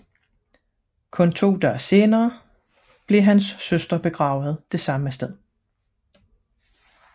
Kun to dage senere blev hans søster begravet det samme sted